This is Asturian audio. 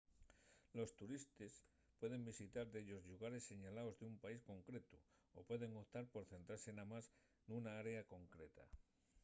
los turistes pueden visitar dellos llugares señalaos d’un país concretu o pueden optar por centrase namás nuna área concreta